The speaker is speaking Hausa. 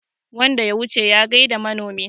wanda ya wuce ya gaida manomin